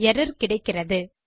error கிடைக்கிறது